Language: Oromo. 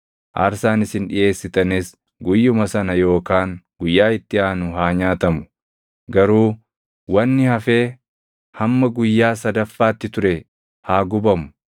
Aarsaan isin dhiʼeessitanis guyyuma sana yookaan guyyaa itti aanu haa nyaatamu; garuu wanni hafee hamma guyyaa sadaffaatti ture haa gubamu.